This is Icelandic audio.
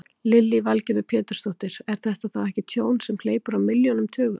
Lillý Valgerður Pétursdóttir: Er þetta þá ekki tjón sem hleypur á milljónum, tugum?